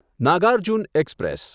Nagarjuna express